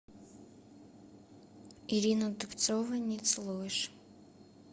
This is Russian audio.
ирина дубцова не целуешь